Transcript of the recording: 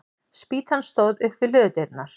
Spýtan stóð upp við hlöðudyrnar.